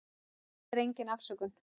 Það er engin afsökun.